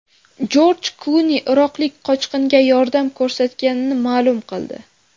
Jorj Kluni iroqlik qochqinga yordam ko‘rsatganini ma’lum qildi.